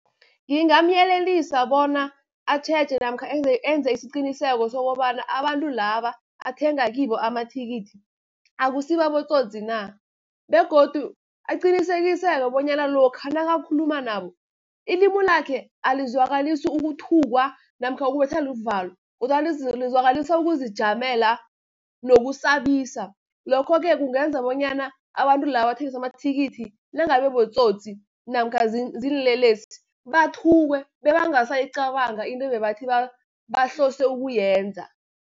Ngingamyelelisa bona atjheje, namkha enze isiqiniseko sokobana abantu laba, athenga kibo amathikithi, akusibo abotsotsi na, begodu aqinisekiseke bonyana lokha nakakhuluma nabo ilimu lakhe alizwakalisi ukuthukwa, namkha ukubetha luvalo kodwana lizwakalisa ukuzijamela nokusabisa. Lokho-ke kungenza bonyana abantu laba abathengisa amathikithi nangabe botsotsi, namkha ziinlelesi, bathukwe bebangasayicabanga into ebabathi bahlose ukuyenza.